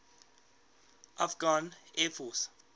afghan air force